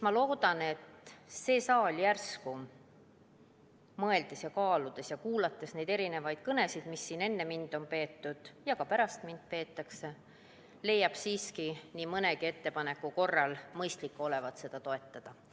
Ma loodan, et see saal, kaaludes ja kuulates neid kõnesid, mida siin enne mind on peetud ja ka pärast mind peetakse, leiab järsku siiski mõistliku olevat nii mõndagi ettepanekut toetada.